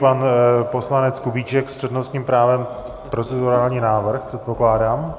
Pan poslanec Kubíček s přednostním právem - procedurální návrh, předpokládám.